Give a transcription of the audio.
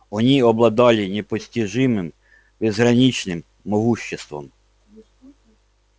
они обладали непостижимым безграничным могуществом